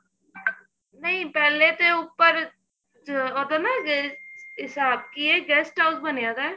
ਨਹੀਂ ਪਹਿਲੇ ਤੇ ਉਪਰ ਜ ਅਗਰ ਨਾ ਜੇ ਹਿਸਾਬ ਕਿ ਏ guest house ਬਣਿਆ ਪਿਆ